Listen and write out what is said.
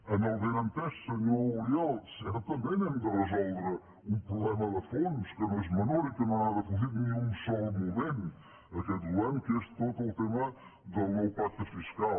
amb el benentès senyor uriel que certament hem de resoldre un problema de fons que no és menor i que no ha defugit ni un sol moment aquest govern que és tot el tema del nou pacte fiscal